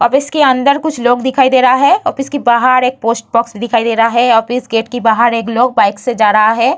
Office के अंदर कुछ लोग दिखाई दे रहा है ऑफिस के बाहर एक पोस्ट बॉक्स दिखाई दे रहा है ऑफिस गेट के बाहर एक लोग बाइक से जा रहा है।